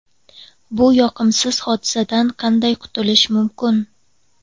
Bu yoqimsiz hodisadan qanday qutulish mumkin?